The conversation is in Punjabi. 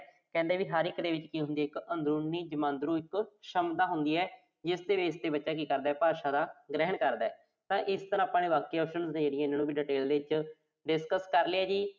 ਕਹਿੰਦੇ ਕਿ ਹਰ ਇੱਕ ਦੇ ਵਿੱਚ ਕੀ ਹੁੰਦੀ ਆ ਇੱਕ, ਅੰਦਰੂਨੀ ਜਮਾਂਦਰੂ ਸ਼ਮਤਾ ਹੁੰਦੀ ਆ। ਜਿਸਦੇ base ਤੇ ਬੱਚਾ ਕੀ ਕਰਦਾ, ਭਾਸ਼ਾ ਦਾ ਗ੍ਰਹਿਣ ਕਰਦਾ। ਤਾਂ ਇਸ ਤਰ੍ਹਾਂ ਆਪਾਂ ਬਾਕੀ options ਨੂੰ ਵੀ detail ਦੇ ਵਿੱਚ discuss ਕਰਲਿਆ ਜੀ